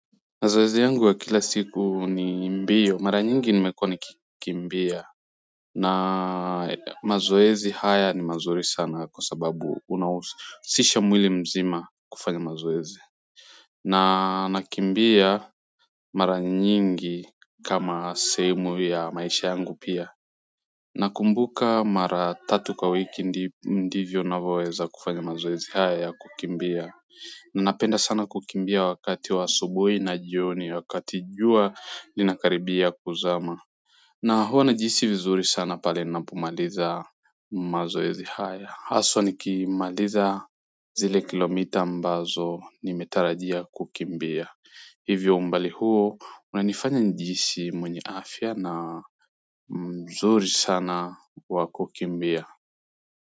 Mazoezi yangu wa kila siku ni mbio mara nyingi nimekuwa nikimbia na mazoezi haya ni mazuri sana kwa sababu unahusisha mwili mzima kufanya mazoezi na nakimbia mara nyingi kama sehemu ya maisha yangu pia na kumbuka mara tatu kwa wiki ndivyo unavyoweza kufanya mazoezi haya ya kukimbia napenda sana kukimbia wakati wa asubuhi na jioni wakati jua linakaribia kuzama na huwa na jihisi vizuri sana pale napomaliza mazoezi haya haswa nikimaliza zile kilomita ambazo nimetarajia kukimbia hivyo umbali huo unanifanya nijihisi mwenye afya na mzuri sana wa kukimbia.